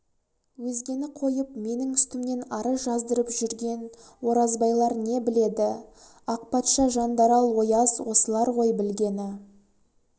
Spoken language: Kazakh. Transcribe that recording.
өзгені қойып менің үстімнен арыз жаздырып жүрген оразбайлар не біледі ақпатша жандарал ояз осылар ғой білгені